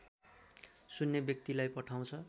सुन्ने व्यक्तिलाई पठाउँछ